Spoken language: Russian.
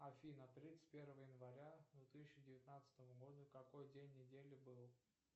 афина тридцать первое января две тысячи девятнадцатого года какой день недели был